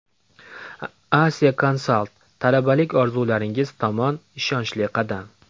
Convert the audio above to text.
Asia Consult: talabalik orzularingiz tomon ishonchli qadam.